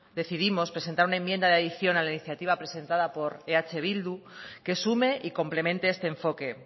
decidimos presentar una enmienda de adicción a la iniciativa presentada por eh bildu que sume y complemente este enfoque